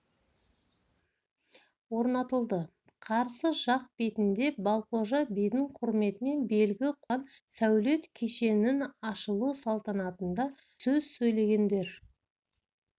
орнатылды қарсы жақ бетіне балқожа бидің құрметіне белгі қойылған сәулет кешеннің ашылу салтанатында сөз сөйлегендер